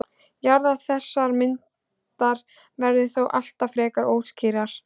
jaðrar þessarar myndar verða þó alltaf frekar óskýrir